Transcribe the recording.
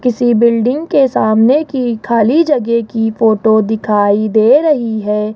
किसी बिल्डिंग के सामने की खाली जगह की फोटो दिखाई दे रही है।